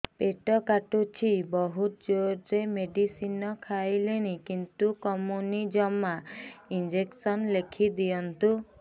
ପେଟ କାଟୁଛି ବହୁତ ଜୋରରେ ମେଡିସିନ ଖାଇଲିଣି କିନ୍ତୁ କମୁନି ଜମା ଇଂଜେକସନ ଲେଖିଦିଅନ୍ତୁ